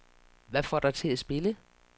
Hvad får dig til at spille?